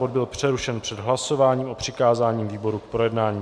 Bod byl přerušen před hlasováním o přikázání výborům k projednání.